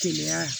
Keleya